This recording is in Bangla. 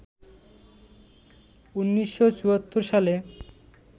১৯৭৪ সালে